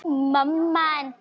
en ég skil samt ekki.